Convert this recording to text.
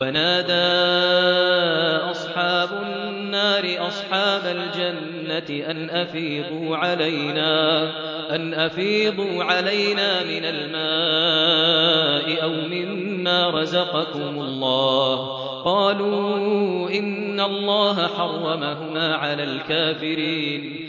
وَنَادَىٰ أَصْحَابُ النَّارِ أَصْحَابَ الْجَنَّةِ أَنْ أَفِيضُوا عَلَيْنَا مِنَ الْمَاءِ أَوْ مِمَّا رَزَقَكُمُ اللَّهُ ۚ قَالُوا إِنَّ اللَّهَ حَرَّمَهُمَا عَلَى الْكَافِرِينَ